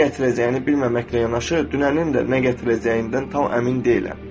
Nə gətirəcəyini bilməməklə yanaşı, dünənin də nə gətirəcəyindən tam əmin deyiləm.